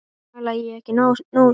Talaði ég ekki nógu skýrt?